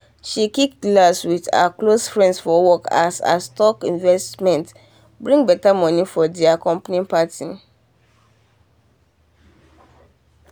she click glass with her close friends for work as her stock investment bring better money for there company party.